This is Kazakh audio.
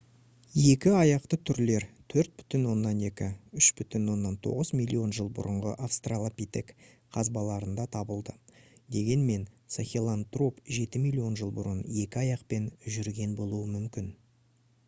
екі аяқты түрлер 4,2 - 3,9 миллион жыл бұрынғы австралопитек қазбаларында табылды дегенмен сахелантроп жеті миллион жыл бұрын екі аяқпен жүрген болуы мүмкін